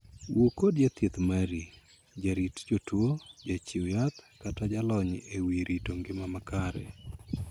Wuo kod jathieth mari, jarit jotuo, jachiw yath, kata jalony e wii rito ngima makare.